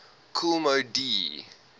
kool moe dee